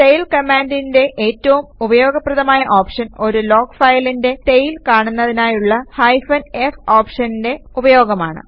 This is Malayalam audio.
ടെയിൽ കമാൻഡിന്റെ ഏറ്റവും ഉപയോഗപ്രദമായ ഓപ്ഷൻ ഒരു ലോഗ് ഫയലിന്റെ ടെയിൽ കാണുന്നതിനായുള്ള ഹൈഫൻ f ഓപ്ഷന്റെ ഉപയോഗമാണ്